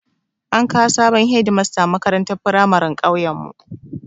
An kawo sabon Hedimasta makarantar firamarin ƙauyen mu